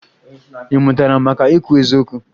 Ị mụtara maka ikwu eziokwu?